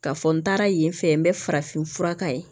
Ka fɔ n taara yen fɛ n bɛ farafin fura k'a ye